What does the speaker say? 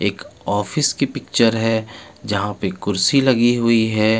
एक ऑफिस की पिक्चर है जहा पे खुर्ची लगी हुयी है.